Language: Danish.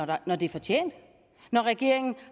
det når det er fortjent når regeringen